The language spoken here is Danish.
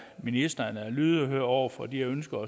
ministeren er lydhør over for de ønsker